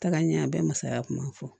Taga ɲɛ a bɛɛ bɛ masaya kuma fɔ